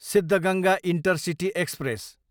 Siddaganga intercity express